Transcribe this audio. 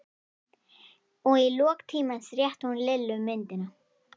Og í lok tímans rétti hún Lillu myndina.